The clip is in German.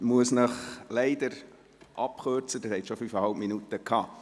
Ich muss Sie leider abkürzen, Sie hatten schon fünfeinhalb Minuten Redezeit.